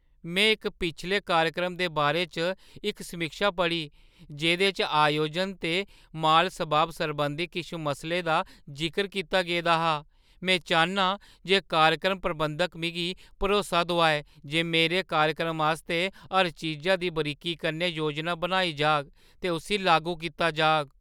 मैं इक पिछले कार्यक्रम दे बारे च इक समीक्षा पढ़ी जेह्दे च आयोजन ते माल-सबाब सरबंधी किश मसलें दा जिकर कीता गेदा हा। में चाह्न्नां जे कार्यक्रम प्रबंधक मिगी भरोसा दोआऐ जे मेरे कार्यक्रम आस्तै हर चीजा दी बरीकी कन्नै योजना बनाई जाह्‌ग ते उस्सी लागू कीता जाह्‌ग।